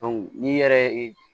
n'i yɛrɛ ye